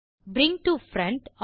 bring to front